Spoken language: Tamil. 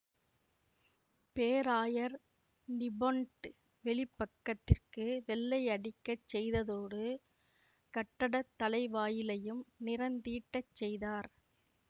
பேராயர் நிபொன்ட் வெளிப்பக்கத்திற்கு வெள்ளையடிக்கச் செய்ததோடு கட்டட தலைவாயிலையும் நிறந் தீட்டச் செய்தார்